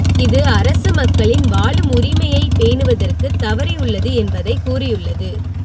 இது அரசு மக்களின் வாழும் உரிமையை பேணுவதற்கு தவறியுள்ளது என்பதை கூறியுள்ளது